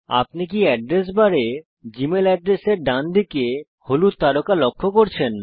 আপনি কি এড্রেস বারে জীমেল এড্রেসের ডানদিকে হলুদ তারকা লক্ষ্য করেছেন